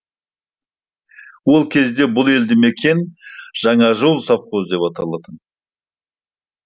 ол кезде бұл елді мекен жаңажол совхозы деп аталатын